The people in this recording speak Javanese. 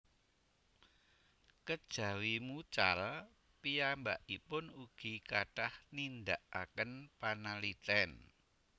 Kejawi mucal piyambakipun ugi kathah nindakaken panaliten